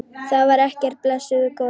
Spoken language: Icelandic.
Það var ekkert, blessuð góða.